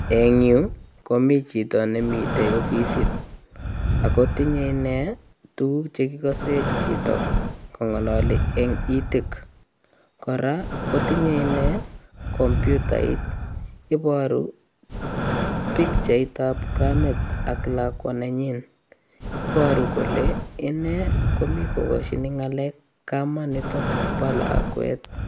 Eng yuu, komii chito nemite ofisit. Akotinye inee tuguk che kikase chito kong'alali eng ititk. Kora, kotinye inee kompyutait. Iboru pikchait ap kamet ak lakwa nenyin. Iboru kole inee, komii kokoshin ng'alek kamanitok bo lakwet.